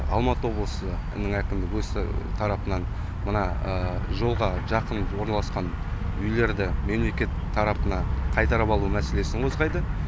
алматы облысы әкімдігі өз тарапынан мына жолға жақын орналасқан үйлерді мемлекет тарапына қайтарып алу мәселесін қозғайды